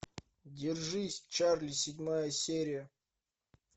держись чарли седьмая серия